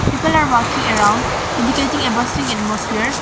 People are walking around indicating a bustling atmosphere.